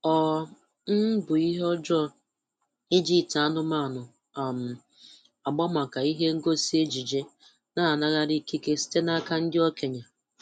Ọ um bụ ihe ọjọọ iji ite anụmanụ um agba maka ihe ngosi ejije na-anaraghị ikike site n'aka ndị okenye.